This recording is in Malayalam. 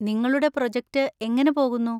നിങ്ങളുടെ പ്രോജക്റ്റ് എങ്ങനെ പോകുന്നു?